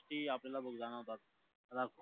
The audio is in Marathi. की आपल्याला भोग जाणवतात